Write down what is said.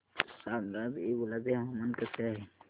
सांगा आज येवला चे हवामान कसे आहे